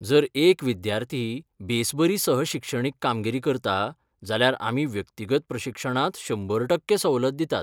जर एक विद्यार्थी बेस बरी सह शिक्षणीक कामगिरी करता जाल्यार आमी व्यक्तिगत प्रशिक्षणांत शंबर टक्के सवलत दितात.